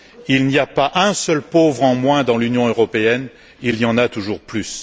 Il n'y a pas un seul pauvre en moins dans l'Union européenne, il y en a toujours plus!